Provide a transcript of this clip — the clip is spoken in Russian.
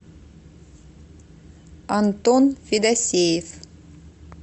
антон федосеев